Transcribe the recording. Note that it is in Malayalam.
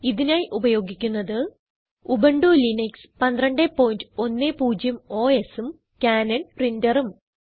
ഇതിനായി ഉപയോഗിക്കുന്നത് ഉബുന്റു ലിനക്സ് 1210 OSഉം കാനൻ printerഉം